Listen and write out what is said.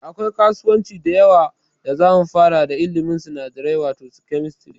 Da akwai kasuwanci da yawa da zamu fara da ilimin sinadarai wato Chemistry